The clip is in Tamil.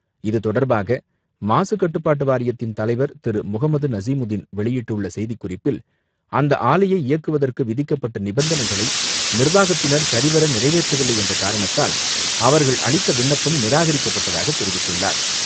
இதுதொடர்பாக மாசுக்கட்டுப்பாட்டு வாரியத்தின் தலைவர் திரு முகமது நசிமுதின் வெளியிட்டுள்ள செய்திக்குறிப்பில், அந்த ஆலையை இயக்குவதற்கு விதிக்கப்பட்ட நிபந்தனைகளை நிர்வாகத்தினர் சரிவர நிறைவேற்றவில்லை என்ற காரணத்தால், அவர்கள் அளித்த விண்ணப்பம் நிராகரிக்கப்பட்டதாக தெரிவித்துள்ளார்.